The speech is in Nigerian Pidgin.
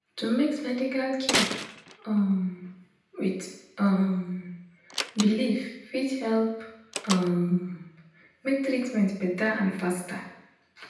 to mix medical care um with um belief fit help um make treatment better and faster.